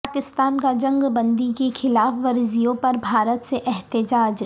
پاکستان کا جنگ بندی کی خلاف ورزیوں پر بھارت سے احتجاج